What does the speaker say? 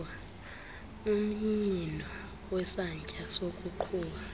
umnyino wesantya sokuqhuba